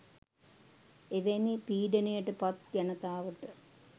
එවැනි පීඩනයට පත් ජනතාවට